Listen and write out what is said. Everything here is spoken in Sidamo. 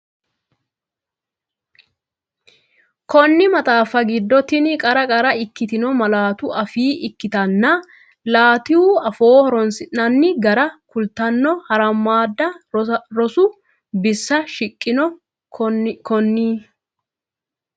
Konni maxaafi giddo tenne qara qara ikkitino malaatu afii akattanna laatu afoo horoonsi’nanni gara kultanno harammadda rosu bissa shiqqino Konni.